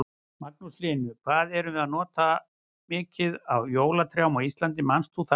Magnús Hlynur: Hvað erum við að nota mikið af jólatrjám á Íslandi, manst þú það?